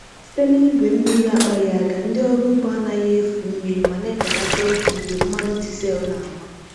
Site na igwe mmiri akpaghị aka, ndị ọrụ ugbo anaghị efu mmiri ma na-ebelata oge igwe mmanụ diesel na-agba.